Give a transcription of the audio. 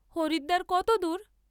হরিদ্বার কতদূর?